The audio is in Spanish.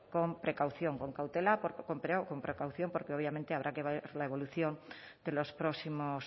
con precaución con cautela con precaución porque obviamente habrá que ver la evolución de los próximos